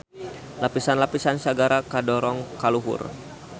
Lapisan-lapisan sagara kadorong ka luhur.